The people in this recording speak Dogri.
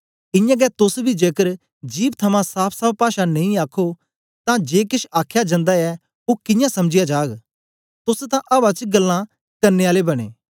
इयां गै तोस बी जेकर जिभ थमां साफ़साफ़ पाषा नेई आखो तां जे केछ आखया जंदा ऐ ओ कियां समझया जाग तोस तां अवा च गल्लां करने आले बनें